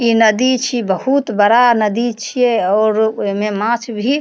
इ नदी छी बहुत बड़ा नदी छिये और ओय मे माछ भी --